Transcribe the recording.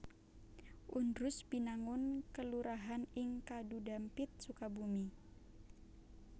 Undrus Binangun kelurahan ing Kadhudhampit Sukabumi